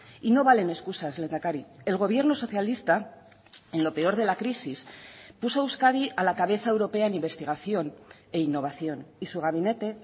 y no valen excusas lehendakari el gobierno socialista en lo peor de la crisis puso a euskadi a la cabeza europea en investigación e innovación y su gabinete